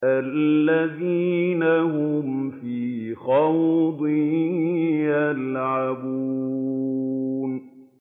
الَّذِينَ هُمْ فِي خَوْضٍ يَلْعَبُونَ